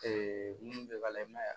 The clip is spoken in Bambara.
mun bɛ ka i ma ye